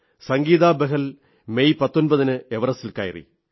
Sangeeta Bahl May 19 ന് എവറസ്റ്റിൽ കയറി